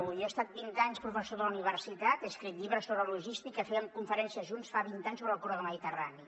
jo he estat vint anys professor de la universitat he escrit llibres sobre logística fèiem conferències junts fa vint anys sobre el corredor mediterrani